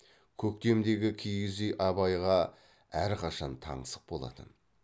көктемдегі киіз үй абайға әрқашан таңсық болатын